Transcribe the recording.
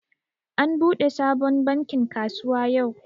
An buɗe sabon bankin kasuwa yau